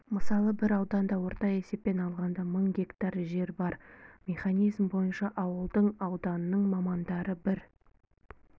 мысалы бір ауданда орта есеппен алғанда мың гектар жер бар механизм бойынша ауылдың ауданның мамандары бір